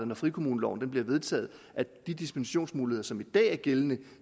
når frikommuneloven er vedtaget at de dispensationsmuligheder som er gældende